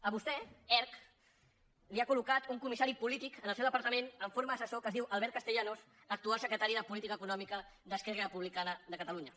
a vostè erc li ha coldepartament en forma d’assessor que es diu albert castellanos actual secretari de política econòmica d’esquerra republicana de catalunya